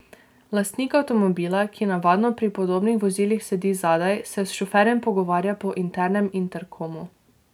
Lastnik avtomobila, ki navadno pri podobnih vozilih sedi zadaj, se s šoferjem pogovarja po internem interkomu.